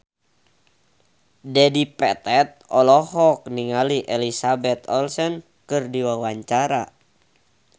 Dedi Petet olohok ningali Elizabeth Olsen keur diwawancara